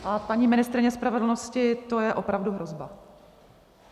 A paní ministryně spravedlnosti, to je opravdu hrozba.